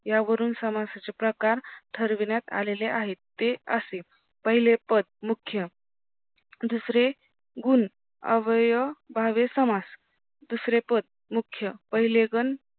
यावरून समासाचे प्रकार ठरविण्यात आलेले आहेत ते असे पहिले पद मुख्य दुसरे गुण अवयभावे समास दुसरे पद मुख्य पहिले गण